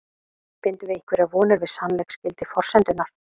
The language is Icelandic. Bindum við einhverjar vonir við sannleiksgildi forsendunnar?